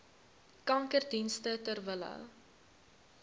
kankerdienste ter wille